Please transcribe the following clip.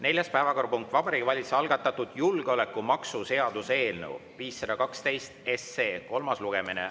Neljas päevakorrapunkt: Vabariigi Valitsuse algatatud julgeolekumaksu seaduse eelnõu 512 kolmas lugemine.